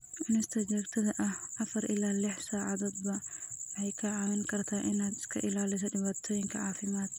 Cunista joogtada ah (afar ilaa lix saacadoodba) waxay kaa caawin kartaa inaad iska ilaaliso dhibaatooyinkan caafimaad.